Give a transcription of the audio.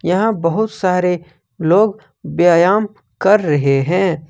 यहां बहुत सारे लोग व्यायाम कर रहे हैं।